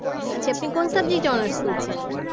আচ্ছা আপনি কোন subject এ honours করছেন?